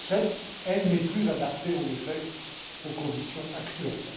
de 2007. Elle n'est plus adaptée, en effet, aux conditions actuelles.